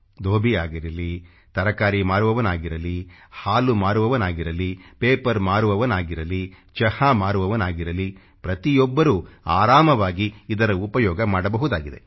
ದೋಭಿ ಆಗಿರಲಿ ತರಕಾರಿ ಮಾರುವವನಾಗಿರಲಿ ಹಾಲು ಮಾರುವವನಾಗಿರಲಿ ಪೇಪರ್ ಮಾರುವವನಾಗಿರಲಿ ಚಹಾ ಮಾರುವವನಾಗಿರಲಿ ಪ್ರತಿಯೊಬ್ಬರೂ ಆರಾಮವಾಗಿ ಇದರ ಉಪಯೋಗ ಮಾಡಬಹುದಾಗಿದೆ